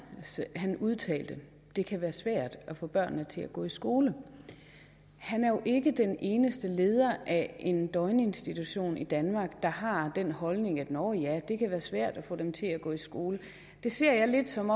udtalte det kan være svært at få børnene til at gå i skole han er jo ikke den eneste leder af en døgninstitution i danmark der har den holdning at nå ja det kan være svært at få dem til at gå i skole det ser jeg lidt som